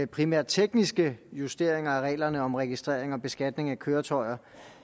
primært tekniske justeringer af reglerne om registrering og beskatning af køretøjer